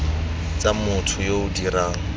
tsa motho yo o dirang